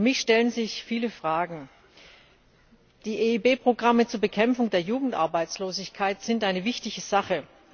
Für mich stellen sich viele Fragen Die EIB Programme zur Bekämpfung der Jugendarbeitslosigkeit sind eine wichtige Sache.